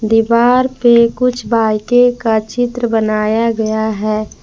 दीवार पे कुछ बाइके का चित्र बनाया गया है।